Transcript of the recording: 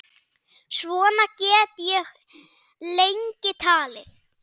Svona get ég lengi talið.